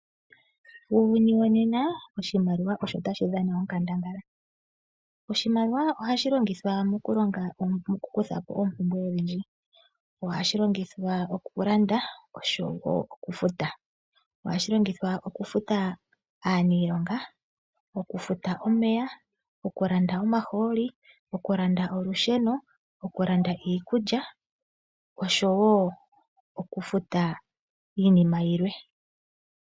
Uuyuni wonena oshimaliwa osho tashi dhana onkandangala. Oshimaliwa ohashi longithwa mokukutha po oompumbwe odhindji. Ohashi longithwa okulanda oshowo okufuta. Ohashi longithwa, okufuta aanilonga , okufuta omeya, okulanda omahooli, okulanda olusheno, okulanda iikulya, oshowo okufuta iinima yilwe.